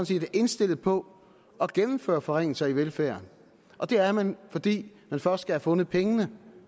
set er indstillet på at gennemføre forringelser af velfærden og det er man fordi man først skal have fundet pengene